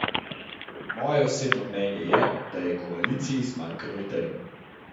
Moje osebno mnenje je, da je koaliciji zmanjkalo idej.